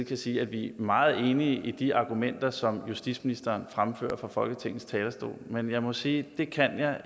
kan sige at vi er meget enige i de argumenter som justitsministeren fremfører fra folketingets talerstol men jeg må sige at det kan jeg